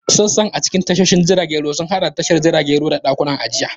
Sassan a cikin tashoshin jiragen ruwa sun haɗa da tashar jiragen ruwa da ɗakunan ajiya.